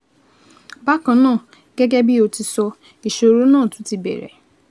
Bákan náà, gẹ́gẹ́ bí o ti sọ, ìṣòro náà tún ti bẹ̀rẹ̀